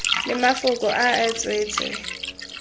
le mafoko a e tswetswe